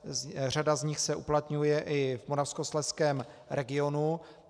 Řada z nich se uplatňuje i v Moravskoslezském regionu.